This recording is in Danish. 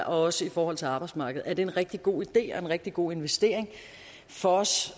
også i forhold til arbejdsmarkedet er det en rigtig god idé og en rigtig god investering for os